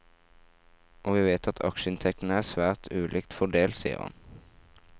Og vi vet at aksjeinntekten er svært ulikt fordelt, sier han.